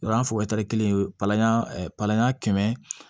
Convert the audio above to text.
O y'an fɔ kelen ye palan palan kɛmɛ